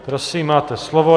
Prosím, máte slovo.